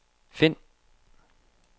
find